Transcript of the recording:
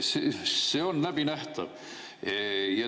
See on läbinähtav.